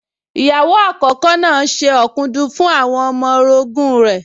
Ìyàwó àkókò náà se ọ̀dùnkún fún àwọn ọmọ orogún rẹ̀